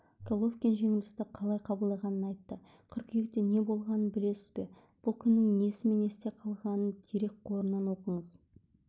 головкин жеңілісті қалай қабылдағанын айтты қыркүйекте неболғанын білесіз бе бұл күннің несімен есте қалғанын дерекқорынан оқыңыз